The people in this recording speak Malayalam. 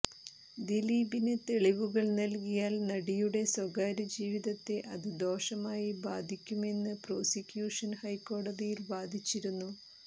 ദിലീപിന് തെളിവുകൾ നൽകിയാൽ നടിയുടെ സ്വകാര്യ ജീവിതത്തെ അത് ദോഷമായി ബാധിക്കുമെന്ന് പ്രോസിക്യൂഷൻ ഹൈക്കോടതിയിൽ വാദിച്ചിരുന്നു